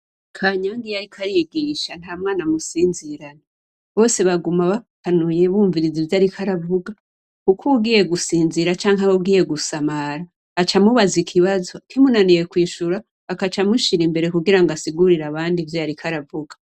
Kanyang’iyariko arigisha ntamwan’amusinzirana. Bose baguma bakanuye bumviriza ivyariko aravuga kuk’uwugiye gusinzira cank’uwugiye gusamara acamubaza ikibazo kimunaniye kwishura ,akaca amushira imbere kugira asigurire abandi ivyo yarikw’aravuga.